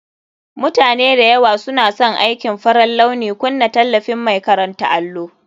Mutane da yawa suna son aikin farar launi. Kunna tallafin mai karanta allo